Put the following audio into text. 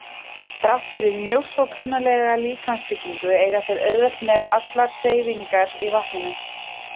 Þrátt fyrir mjög svo klunnalega líkamsbyggingu eiga þeir auðvelt með allar hreyfingar í vatninu.